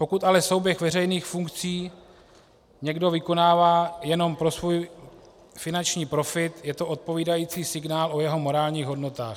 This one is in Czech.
Pokud ale souběh veřejných funkcí někdo vykonává jenom pro svůj finanční profit, je to odpovídající signál o jeho morálních hodnotách.